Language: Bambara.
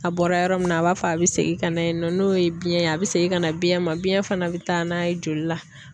A bɔra yɔrɔ min na a b'a fɔ a bɛ segin ka na yen nɔ, n'o ye biyɛn ye a bɛ segin ka na biyɛn ma biyɛn fana bɛ taa n'a ye joli la.